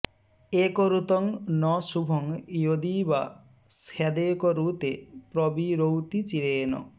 एकरुतं न शुभं यदि वा स्यादेकरुते प्रविरौति चिरेण